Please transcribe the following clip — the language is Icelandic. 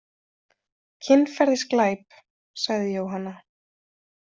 Kynferðisglæp, sagði Jóhanna.